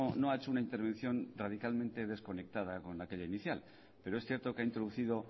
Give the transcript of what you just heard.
no ha hecho una intervención radicalmente desconectada con aquella inicial pero es cierto que ha introducido